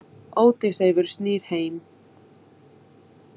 Ódysseifur snýr heim.